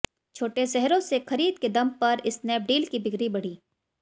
छोटे शहरों से खरीद के दम पर स्नैपडील की बिक्री बढ़ी